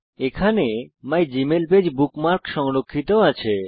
এখানে my Gmail page bookmark সংরক্ষিত আছে